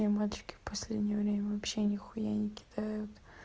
мне мальчики в последнее время вообще нехуя не кидают